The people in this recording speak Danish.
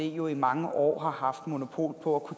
jo i mange år har haft monopol på